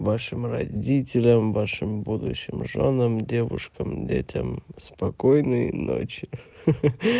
вашим родителям вашим будущим жёнам девушкам детям спокойной ночи ха ха